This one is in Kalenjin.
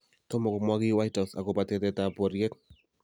Tomo komwa kiy White House akobo tetetab boriet